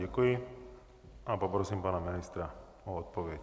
Děkuji a poprosím pana ministra o odpověď.